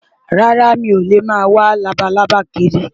Rárá, mi ò lè máa wá labalábá kiri.